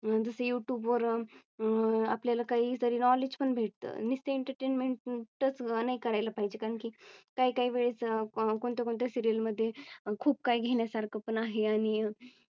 जस Youtube वर अह अह आपल्याला काही तरी Knowledge पण भेटतं नुसतं Entertainment च नाही करायला पाहिजे कारण की काही काही वेळेस कोणत्या कोणत्या Serial मध्ये खूप काही घेण्यासारखं पण आहे आणि अह